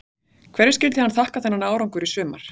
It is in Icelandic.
Hverju skyldi hann þakka þennan árangur í sumar?